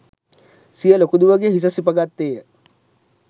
සිය ලොකු දුවගේ හිස සිප ගත්තේය